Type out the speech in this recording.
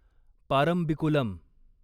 Parambikulam